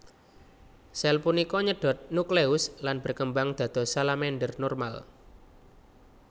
Sel punika nyedot nukleus lan berkembang dados salamander normal